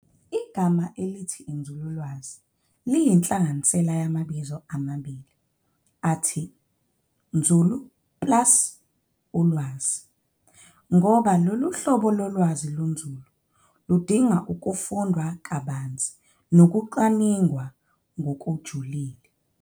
Igama elithi inzululwazi liyinhlanganisela yamabizo amabili athi 'nzulu plus ulwazi' ngoba loluhlobo lolwazi lunzulu, ludinga ukufundwa kabanzi nokucwaningwa ngokujulile.